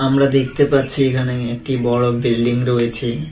আমরা দেখতে পাচ্ছি এখানে একটি বড় বিল্ডিং রয়েছে।